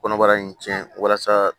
Kɔnɔbara in cɛn walasa